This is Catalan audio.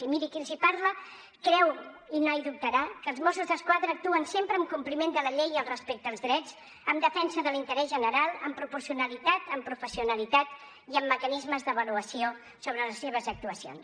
i miri qui els parla creu i mai dubtarà que els mossos d’esquadra actuen sempre en compliment de la llei i el respecte als drets en defensa de l’interès general amb proporcionalitat amb professionalitat i amb mecanismes d’avaluació sobre les seves actuacions